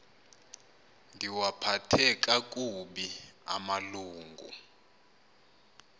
ndiwaphathe kakubi amalungu